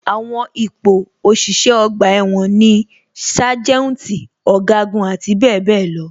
Àwọn ipò òṣìṣẹ́ ọgbà ẹ̀wọ̀n ni sájẹ́ùntì, ọ̀gágun, àti bẹẹ bẹẹ lọ.